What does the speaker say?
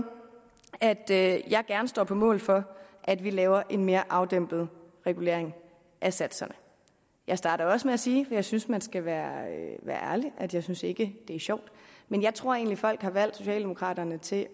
at at jeg gerne står på mål for at vi laver en mere afdæmpet regulering af satserne jeg startede også med at sige for jeg synes at man skal være ærlig at jeg ikke synes det er sjovt men jeg tror egentlig folk har valgt socialdemokraterne til